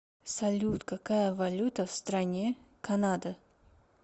салют какая валюта в стране канада